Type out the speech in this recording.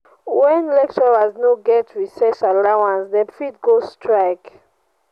when lecturers no get research allowance dem fit go strike.